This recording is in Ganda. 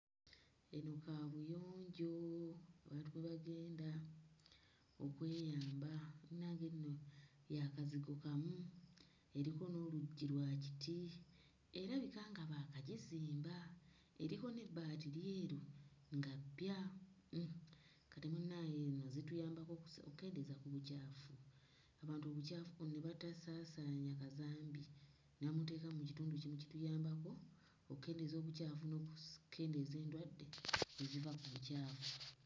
Eno kaabuyonjo abantu kwe bagenda okweyamba munnange nno ya kazigo kamu eriko n'oluggi lwa kiti, erabika nga baakagizimba, eriko n'ebbaati lyeru nga ppya. Hmm kati munnaaye nno zituyambako okukendeeza ku bucaafu, abantu obucaafu ne batasaasaanya kazambi ne bamuteeka mu kitundu kimu kituyambako okukendeeza obucaafu n'okukemdeeza endwadde eziva ku bucaafu.